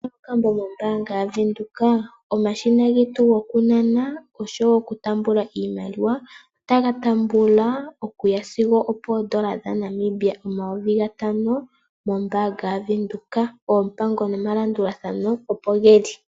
Kuna okambo mombaanga yaVenduka ?Omashina getu gokunana oshowo okutambula iimaliwa, otaga tambula okuya sigo opoondola dhaNamibia omayovi gatano mombaanga yaVenduka. Oompango nomalandulathano opo geli.